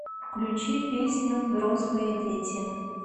включи песню взрослые дети